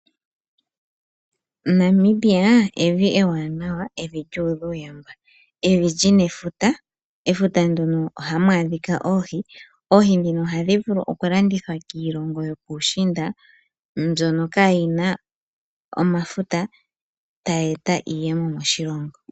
Namibia evi ewanawa evi lyuudha uuyamba, evi li na efuta, efuta nduno oha mu adhika oohi. Oohi dhi no ohadhi vulu okulandithwa kiilongo yopuushiinda mbyono kaayina omafuta ta yi eta iiyemo moshilongo.